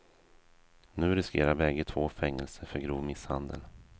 Nu riskerar bägge två fängelse för grov misshandel.